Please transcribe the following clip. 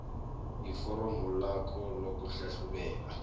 kuforomo lakho lokuhlahlubela